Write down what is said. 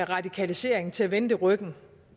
radikalisering til at vende det ryggen